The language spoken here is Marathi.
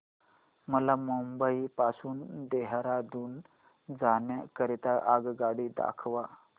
मला मुंबई पासून देहारादून जाण्या करीता आगगाडी दाखवा